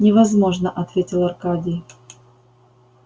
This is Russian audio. невозможно ответил аркадий